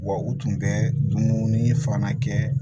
Wa u tun bɛ dumuni fana kɛ